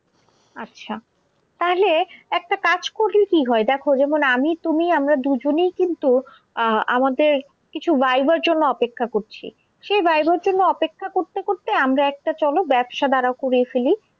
আচ্ছা, তাহলে একটা কাজ করলে কি হয় দেখ যেমন আমি তুমি আমরা দুজনেই কিন্তু আহ আমাদের কিছু viva র জন্য অপেক্ষা করছি। সেই viva র জন্য অপেক্ষা করতে করতে আমরা একটা চলো ব্যবসা দাঁড় করিয়ে ফেলি।